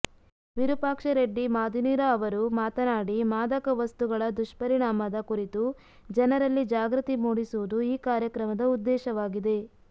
ವಿರುಪಾಕ್ಷರೆಡ್ಡಿ ಮಾದಿನೂರ ಅವರು ಮಾತನಾಡಿ ಮಾದಕ ವಸ್ತುಗಳ ದುಷ್ಪರಿಣಾಮದ ಕುರಿತು ಜನರಲ್ಲಿ ಜಾಗೃತಿ ಮೂಡಿಸುವುದು ಈ ಕಾರ್ಯಕ್ರಮದ ಉದ್ದೇಶವಾಗಿದೆ